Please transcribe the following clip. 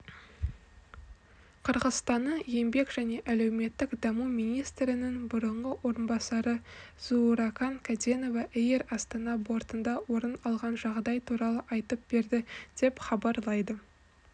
қырғызстанның еңбек және әлеуметтік даму министрінің бұрынғы орынбасары зууракан кәденова эйр астана бортында орын алған жағдай туралы айтып берді деп хабарлайды